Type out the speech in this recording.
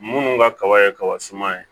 Minnu ka kaba ye kaba suman ye